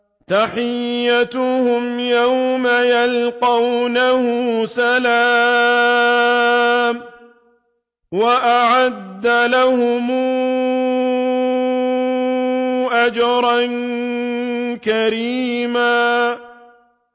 تَحِيَّتُهُمْ يَوْمَ يَلْقَوْنَهُ سَلَامٌ ۚ وَأَعَدَّ لَهُمْ أَجْرًا كَرِيمًا